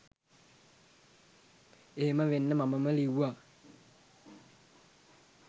එහෙම වෙන්න මමම ලිව්වා